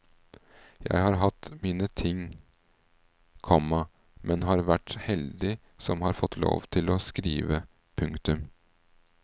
Jeg har hatt mine ting, komma men har vært heldig som har fått lov til å skrive. punktum